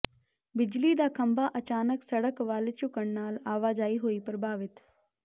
ਬਿਜਲੀ ਦਾ ਖੰਭਾ ਅਚਾਨਕ ਸੜਕ ਵੱਲ ਝੁਕਣ ਨਾਲ ਆਵਾਜਾਈ ਹੋਈ ਪ੍ਰਭਾਵਿਤ